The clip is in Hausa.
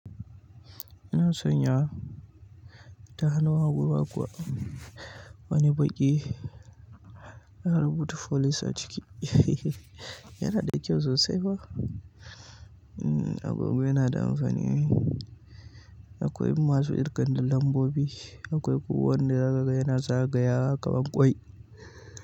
Ina son yawa ta hannun hagu ma kuwa. Wani baki ina rubuta folis a ciki. Yana da kyau sosai fa. Mm agogo yana da amfani ne. Akwai masu irgan lambobi. Akwai kuma wan da za ka ga yana za gayawa kaman ƙwai.